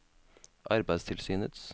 arbeidstilsynets